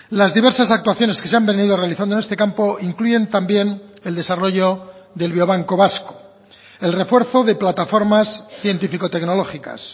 las diversas actuaciones que se han venido realizando en este campo incluyen también el desarrollo del biobanco vasco el refuerzo de plataformas científico tecnológicas